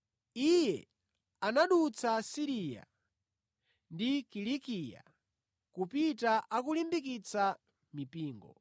Iye anadutsa ku Siriya ndi ku Kilikiya kupita akulimbikitsa mipingo.